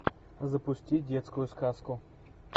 запусти детскую сказку